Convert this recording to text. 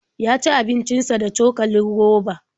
Ya ci abincin sa da cokalin roba.